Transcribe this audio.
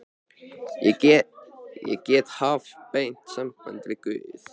Ég get haft beint samband við guð.